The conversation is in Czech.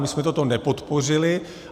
My jsme to nepodpořili.